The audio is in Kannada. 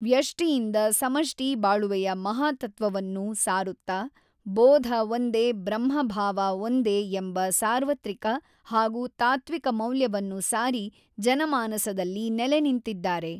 ವ್ಯಷ್ಟಿಯಿಂದ ಸಮಷ್ಟಿ ಬಾಳುವೆಯ ಮಹಾತತ್ತ್ವವನ್ನು ಸಾರುತ್ತ ಬೋಧ ಒಂದೇ ಬ್ರಹ್ಮಭಾವ ಒಂದೇ ಎಂಬ ಸಾರ್ವತ್ರಿಕ ಹಾಗೂ ತಾತ್ತ್ವಿಕ ಮೌಲ್ಯವನ್ನು ಸಾರಿ ಜನಮಾನಸದಲ್ಲಿ ನೆಲೆನಿಂತಿದ್ದಾರೆ.